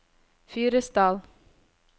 Fyresdal